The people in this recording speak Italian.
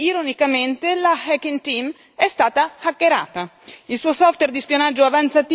E noi sappiamo tutto questo perché, ironicamente, la Hacking Team è stata hackerata.